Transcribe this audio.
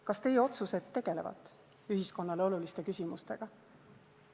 Kas teie otsused tegelevad ühiskonnale oluliste küsimustega?